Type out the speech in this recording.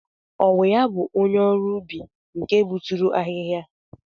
Ọ wụ ya bụ onye ọrụ ubi nke gbuturu ahịhịa?